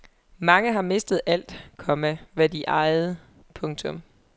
Mange har mistet alt, komma hvad de ejede. punktum